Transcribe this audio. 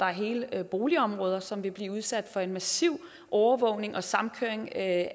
er hele boligområder som ville blive udsat for en massiv overvågning og samkøring af